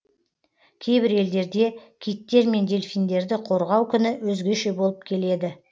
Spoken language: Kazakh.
кейбір елдерде киттер мен дельфиндерді қорғау күні өзгеше болып келеді